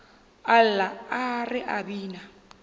a lla re a bina